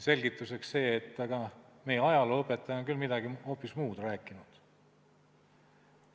Selgituseks öeldi: "Aga meie ajalooõpetaja on küll hoopis midagi muud rääkinud.